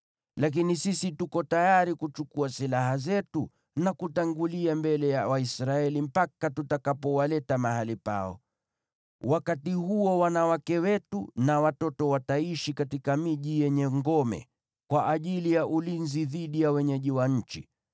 Lakini sisi tuko tayari kuchukua silaha zetu na kutangulia mbele ya Waisraeli mpaka tutakapowaleta mahali pao. Wakati huo wanawake wetu na watoto wataishi katika miji yenye ngome, kwa ajili ya ulinzi dhidi ya wenyeji wa nchi.